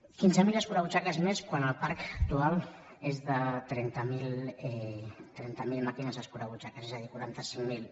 quinze mil escurabutxaques més quan el parc actual és de trenta mil màquines escurabutxaques és a dir quaranta cinc mil